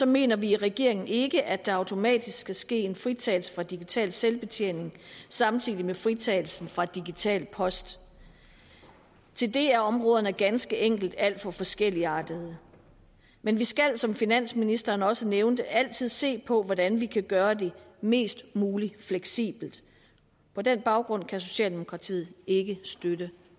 mener vi i regeringen ikke at der automatisk skal ske en fritagelse for digital selvbetjening samtidig med fritagelsen for digital post til det er områderne ganske enkelt alt for forskelligartede men vi skal som finansministeren også nævnte altid se på hvordan vi kan gøre det mest mulig fleksibelt på den baggrund kan socialdemokratiet ikke støtte